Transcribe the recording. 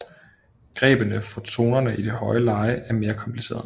Grebene for tonerne i det høje leje er mere komplicerede